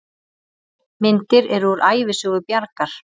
Myndir eru úr Ævisögu Bjargar.